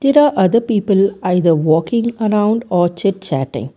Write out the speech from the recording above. There are other people either walking around or chit chatting.